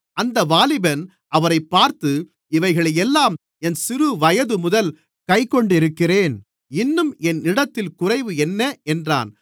அந்த வாலிபன் அவரைப் பார்த்து இவைகளையெல்லாம் என் சிறுவயதுமுதல் கைக்கொண்டிருக்கிறேன் இன்னும் என்னிடத்தில் குறைவு என்ன என்றான்